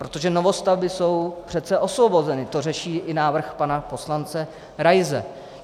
Protože novostavby jsou přece osvobozeny, to řeší i návrh pana poslance Raise.